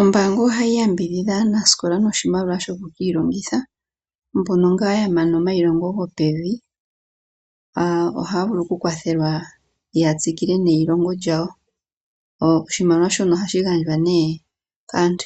Ombaanga ohayi yambidhidha aanasikola noshimaliwa shoku ki ilongitha mbono ngaa yamana omailongo gopevi ohaya vulu okukwathelwa ya tsikile neyilongo lyawo . Oshimaliwa shono ohashi gandjwa nee kaantu